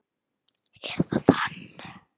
Er það hann?